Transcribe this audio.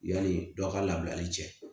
Yani dɔw ka labilali cɛ